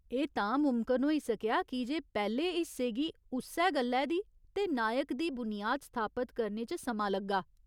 एह् तां मुमकन होई सकेआ कीजे पैह्‌ले हिस्से गी उस्सै गल्लै दी ते नायक दी बुनियाद स्थापत करने च समां लग्गा।